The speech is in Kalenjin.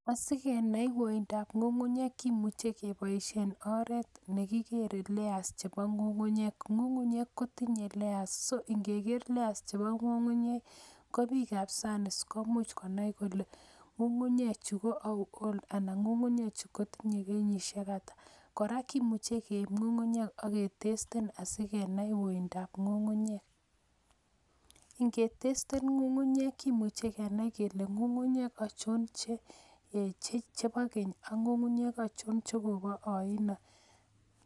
Asikenai akwoindab ngungunyek kimuche keboishien oret nekikere layers chebo ngungunyek, ngungunyek kotinye layers so ingekeer leas chebo ngungunyek kobik Che bo sanis komuch konai kole ngungunye chu kotindo pointisiekata. Kora kimuche keib ngungunyek ak kepiman uindab ngungunyek. Ingetesten ngungunyek kimuche kenai kele ngungunyek achon chebo keny ako achon chebo koyoin.